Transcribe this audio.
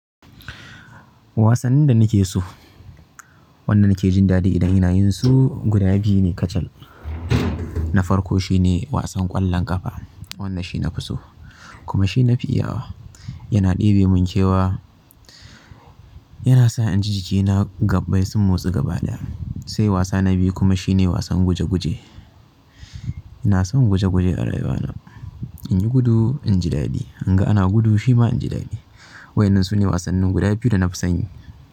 Wasannin da nake so wanda nake jin daɗi idan ina yinsu guda biyu ne kacal na farko shine wasan ƙwallon ƙafa, wannan shine nafi so kuma shine nafi iya wa. Yana ɗebe mun kewa, yana sa inji jikina gabbai sun motsu gaba ɗaya. Sai wasa na biyu kuma shine wasan guje guje. Ina son guje guje a rayuwa na. Inyi gudu inji daɗi, in ga ana gudu shima inji daɗi. Wayannan sune wasannin guda biyu da nafi san yi.